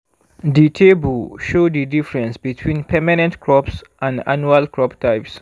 di table show di difference between permanent crops and annual crop types